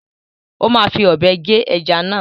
Ó máa fi ọ̀bẹ gé ẹja náà.